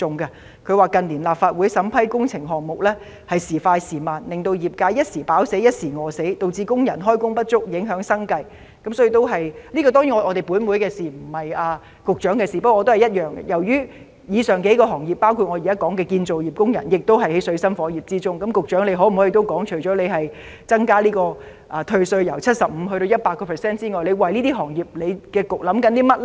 業界指近年立法會審批工程項目撥款時快時慢，令業界"一時飽死，一時餓死"，亦導致工人開工不足，影響他們的生計，所以......不過，由於以上幾個行業的工人處於水深火熱之中，局長可否談談，除了增加退稅的百分比之外，局方還考慮為這些行業做甚麼呢？